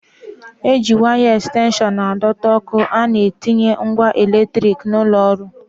E ji waya ẹkstenshọn a dọta ọ́kụ́ a na-etinye ngwa eletrik nọ n'ụlọ ọrụ.